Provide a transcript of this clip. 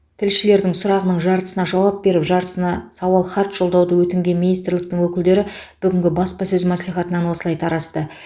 тілшілердің сұрағының жартысына жауап беріп жартысына сауал хат жолдауды өтінген министрліктің өкілдері бүгінгі баспасөз мәслихатынан осылай тарасты